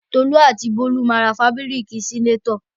Tolú àti Bólú ma ra fábíríkì sínátọ̀.